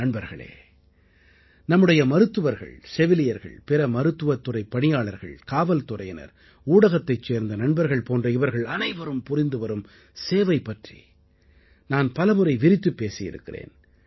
நண்பர்களே நம்முடைய மருத்துவர்கள் செவிலியர்கள் பிற மருத்துவத்துறைப் பணியாளர்கள் காவல்துறையினர் ஊடகத்தைச் சேர்ந்த நண்பர்கள் போன்ற இவர்கள் அனைவரும் புரிந்துவரும் சேவை பற்றி நான் பலமுறை விரித்துப் பேசியிருக்கிறேன்